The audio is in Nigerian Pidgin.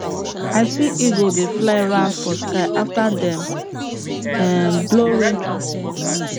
i see eagle dey fly round for sky after dem um blow rain trumpet